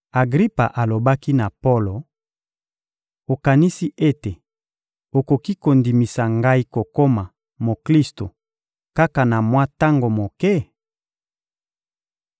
Agripa alobaki na Polo: — Okanisi ete okoki kondimisa ngai kokoma Moklisto kaka na mwa tango moke?